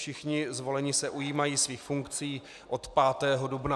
Všichni zvolení se ujímají svých funkcí od 5. dubna.